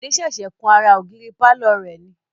Bode ṣẹ̀ṣẹ̀ kun ara ògiri pàlọ́ rẹ̀ ni